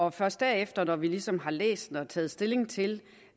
og først derefter når vi ligesom har læst det og taget stilling til